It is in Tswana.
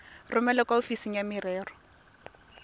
romele kwa ofising ya merero